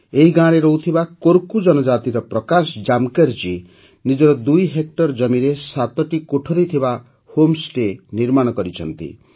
ଏହି ଗାଁରେ ରହୁଥିବା କୋରକୁ ଜନଜାତିର ପ୍ରକାଶ ଜାମକର ଜୀ ନିଜର ଦୁଇ ହେକ୍ଟର ଜମିରେ ସାତଟି କୋଠରି ଥିବା ହୋମ୍ ଷ୍ଟେ ନିର୍ମାଣ କରିଛନ୍ତି